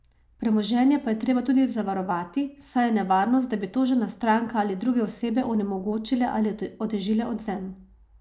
Premoženje pa je treba tudi zavarovati, saj je nevarnost, da bi tožena stranka ali druge osebe onemogočile ali otežile odvzem.